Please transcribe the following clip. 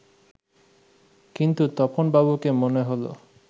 কিন্তু তপন বাবুকে মনে হলো